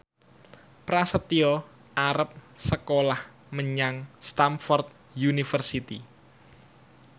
Prasetyo arep sekolah menyang Stamford University